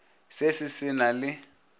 se se se na le